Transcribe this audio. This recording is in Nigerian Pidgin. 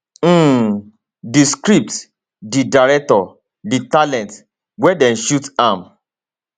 um di script di director di talent wia dem shoot am